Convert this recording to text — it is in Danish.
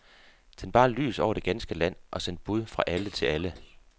Tænd bare lys over det ganske land og send bud fra alle til alle.